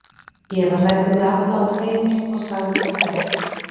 Ég var hræddur við alla og feiminn og sagði sem fæst.